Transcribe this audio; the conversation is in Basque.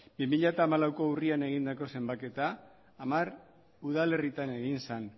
bi mila hamalauko urrian egindako zenbaketa hamar udalerritan egin zen